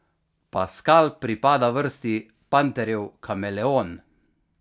Paskal pripada vrsti panterjev kameleon.